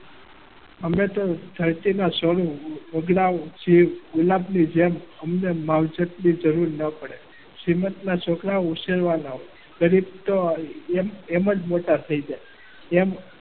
અમે તો જેમ અમને માવજત ની જરૂર ન પડે. તો એમ જ મોટા થઈ જાય.